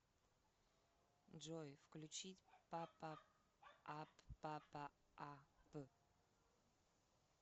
джой включить папа ап папа а п